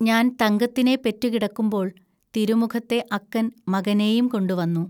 ഞാൻ തങ്കത്തിനെ പെറ്റുകിടക്കുമ്പോൾ തിരുമുഖത്തെ അക്കൻ മകനേയുംകൊണ്ടുവന്നു